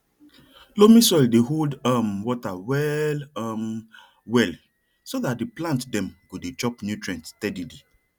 loamy soil dey hold um water well um well so that the plant them go dey chop nutrients steadily